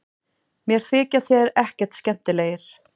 Mér þykja þeir ekkert skemmtilegir